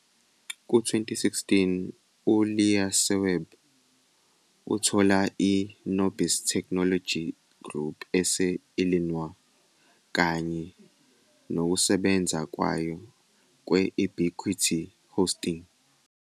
Ku-2016, uLeaseweb uthola i-Nobis Technology Group ese-Illinois, kanye nokusebenza kwayo kwe-Ubiquity Hosting.